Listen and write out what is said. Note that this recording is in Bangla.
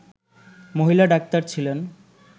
মহিলা ডাক্তার ছিলেন